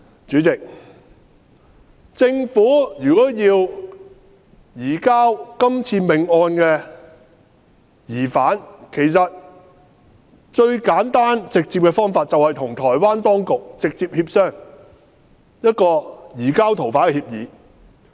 主席，政府如果要移交這命案的疑犯，最簡單直接的方法便是與台灣當局直接協商移交逃犯的協議。